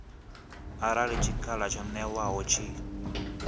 arali tshikhala tsho ṅewaho tshi